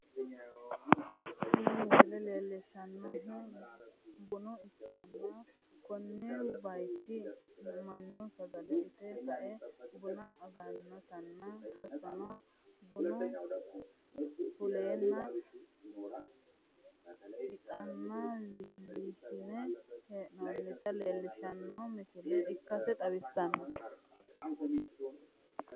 tini misile leelishshannohu buna ikkanna, ko bayicho mannu sagale ite kae buna agannotanna, hattono bunu fuleenna ixaana wiliishinanni hee'noonnita leellishshanno misile ikkase xawissanno.